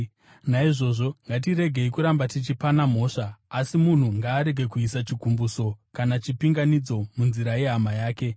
Naizvozvo ngatiregei kuramba tichipana mhosva. Asi munhu ngaarege kuisa chigumbuso kana chipinganidzo munzira yehama yake.